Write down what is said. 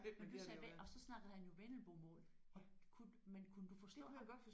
Men du sagde og så snakkede han jo vendelbomål. Og kunne men kunne du forstå ham